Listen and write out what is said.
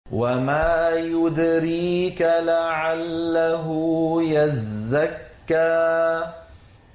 وَمَا يُدْرِيكَ لَعَلَّهُ يَزَّكَّىٰ